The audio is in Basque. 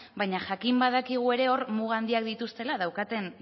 baina jakin badakigu ere hor muga handiak dituztela daukaten